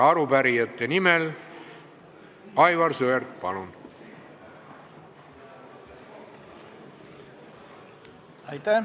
Arupärijate nimel Aivar Sõerd, palun!